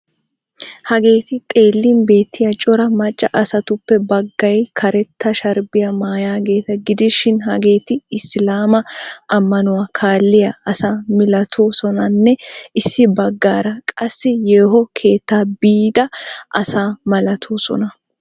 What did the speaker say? Hageeti xeellin beettiya cora macca asatuppe baggay karetta sharbbiya maayaageeta gidishinhageeti isilaama ammanuwa kaalliya asa milatoosonanne issi baggaara qassi yeeho keetta biida asa malatoosona.